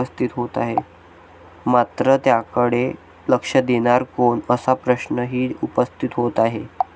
मात्र त्याकडे लक्ष देणार कोण असा प्रश्नही उपस्थित होत आहे.